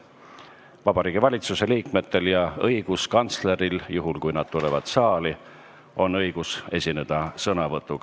Ka Vabariigi Valitsuse liikmetel ja õiguskantsleril – juhul, kui nad tulevad saali – on õigus sõna võtta.